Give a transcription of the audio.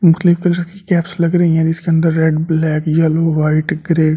मुख्तलिफ कलर की कैप्स लग रही है जिसके अंदर red black yellow white grey.